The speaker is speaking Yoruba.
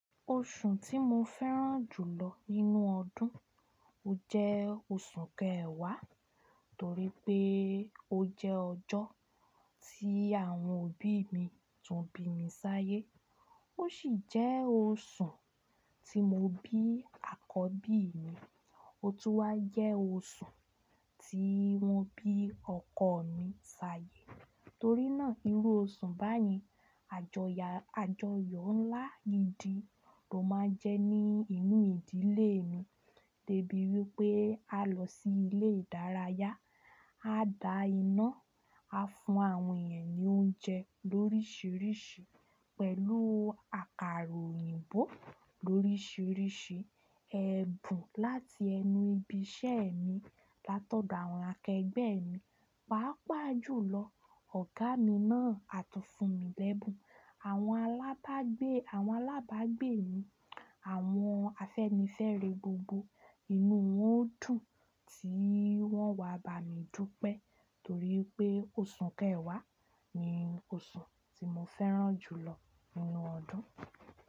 Oṣù tí mo fẹ́ràn jù lọ nínú ọdún, ó jẹ́ oṣù kẹwàá torí pé ó jẹ́ ọjọ́ tí àwọn òbí mi tún bí mi sáyé. Ó sì jẹ́ oṣù tí mo bí àkọ́bí mi. Òtù wa jẹ oṣù tí wọ́n bí ọkọ mi sáyé. Torí náà irú oṣù báyen a jó yá àjọyọ̀ ńlá gi di ló máa ń jẹ́ ní inú ìdílé mi débi wípé a lọ sí ilé ìdárayá, a da iná, a fún àwọn èèyàn ní oúnjẹ lóríṣiríṣi pẹ̀lú àkàrà òyìnbó lóríṣiríṣi, ẹ̀bùn láti ẹnu ibi iṣẹ́ mi látọ̀dọ̀ àwọn akẹgbẹ́ mi. Pàápàá jùlọ ọ̀gá mi náà á tún fún mi lẹ́bùn. Àwọn alagba Àwọn alábàágbé mi, àwọn afẹ́nifẹ́re gbogbo, inú wọn dùn tí wọ́n wá bá mi dúpẹ́ torí pé oṣù kẹwàá ni oṣù tí mo fẹ́ràn jù lọ nínú ọdún.